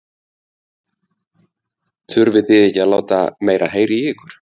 Þurfi þið ekki að láta meira heyra í ykkur?